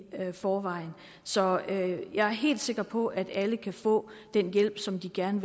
forvejen så jeg er helt sikker på at alle kan få den hjælp som de gerne